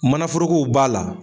Manaforokow b'a la.